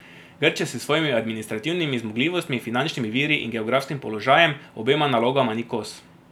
Grčija s svojimi administrativnimi zmogljivostmi, finančnimi viri in geografskim položajem obema nalogama ni kos.